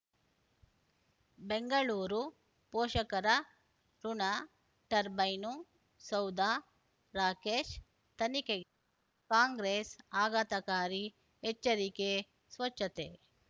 ಬೆಂಗಳೂರು ಪೋಷಕರಋಣ ಟರ್ಬೈನು ಸೌಧ ರಾಕೇಶ್ ತನಿಖೆಗೆ ಕಾಂಗ್ರೆಸ್ ಆಘಾತಕಾರಿ ಎಚ್ಚರಿಕೆ ಸ್ವಚ್ಛತೆ